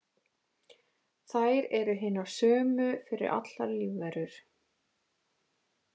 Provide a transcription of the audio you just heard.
Þær eru hinar sömu fyrir allar lífverur.